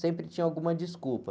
Sempre tinha alguma desculpa.